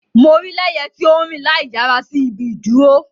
Mo rii Leye ti o nrin laiyara si ibi iduro.